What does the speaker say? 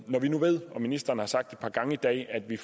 når vi nu ved og ministeren har sagt et par gange i dag at vi